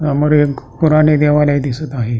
समोर एक पुराने देवालय दिसत आहे.